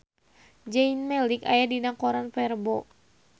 Zayn Malik aya dina koran poe Rebo